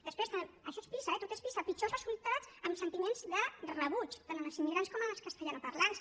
després això és pisa eh tot és pisa pitjors resultats en sentiments de rebuig tant en els immigrants com en els castellanoparlants